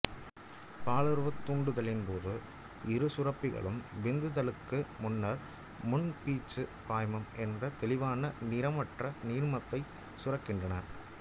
பாலுறவுத் தூண்டலின்போது இரு சுரப்பிகளும் விந்து தள்ளலுக்கு முன்னர் முன்பீச்சுப் பாய்மம் என்ற தெளிவான நிறமற்ற நீர்மத்தை சுரக்கின்றன